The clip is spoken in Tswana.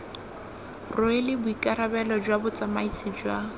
rwele boikarabelo jwa botsamaisi jwa